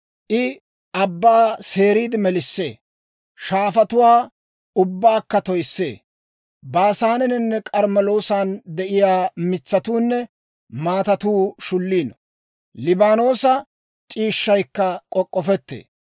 I abbaa seeriide melissee; shaafatuwaa ubbaakka toyissee. Baasaaneninne K'armmeloosan de'iyaa mitsatuunne maatatuu shulliino. Liibaanoosa c'iishshaykka k'ok'k'ofettee.